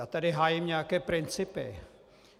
Já tady hájím nějaké principy.